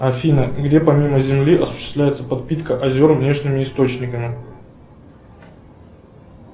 афина где помимо земли осуществляется подпитка озер внешними источниками